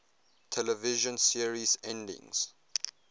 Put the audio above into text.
television series endings